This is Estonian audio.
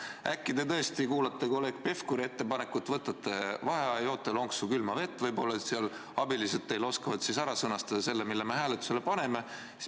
Äkki te tõesti arvestate kolleeg Pevkuri ettepanekut, võtate vaheaja, joote lonksu külma vett võib-olla, ja abilised oskavad ehk ära sõnastada selle, mille me hääletusele paneme.